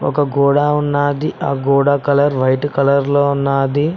ఒక గోడా ఉన్నాది ఆ గోడ కలర్ వైట్ కలర్ లో ఉన్నాది.